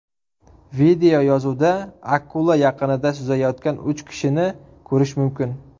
Videoyozuvda akula yaqinida suzayotgan uch kishini ko‘rish mumkin.